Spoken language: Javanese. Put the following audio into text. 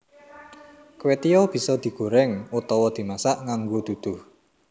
Kwetiau bisa digoreng utawa dimasak nganggo duduh